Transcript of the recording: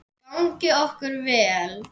Gangi okkur vel.